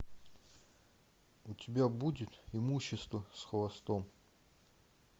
у тебя будет имущество с хвостом